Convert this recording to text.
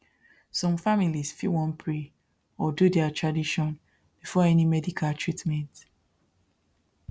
some families fit want pray or do their tradition before any medical treatment